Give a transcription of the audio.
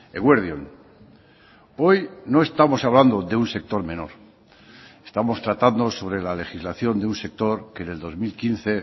eguerdi on hoy no estamos hablando de un sector menor estamos tratando sobre la legislación de un sector que en el dos mil quince